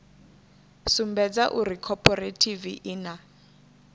sumbedza uri khophorethivi i na